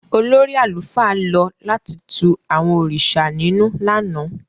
Olórí àlùfáà lọ láti tù àwọn òrìṣà ninù lánàá.